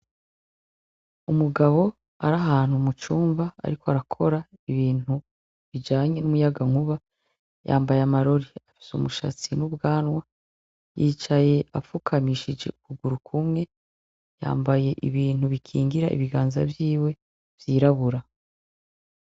Umugabo arahantu mucumba, ariko arakora ibintu bijanye n'umuyagankuba yambaye amarori afise umushatsi n'ubwanwa yicaye apfukamishije ukuguru kumwe yambaye ibintu bikingira ibiganza vyiwe vyirabura.